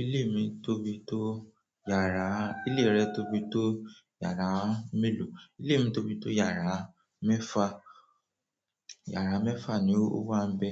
Ilé mi tóbi tó yàrá, ilé rẹ tóbi tó yàrá mélòó? Ilé mi tóbi tó yàrá mẹ́fà, yàrá mẹ́fà ni ó wà n bẹ